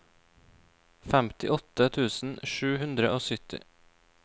femtiåtte tusen sju hundre og sytti